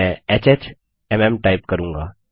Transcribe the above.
मैं HHMM type करूँगा